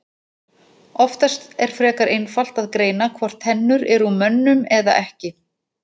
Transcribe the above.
Oftast er frekar einfalt að greina hvort tennur eru úr mönnum eða ekki.